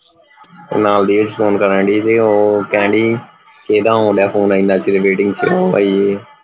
ਨਾਲ ਦੀ ਵੀ ਫੋਨ ਕਰਨ ਢਈ ਸੀ ਉਹ ਕਹਿੰਦੀ ਕਿਹੜਾ ਆਉਂਦੇ ਫੋਨ ਇੰਨਾ ਚਿਰ waiting ਚ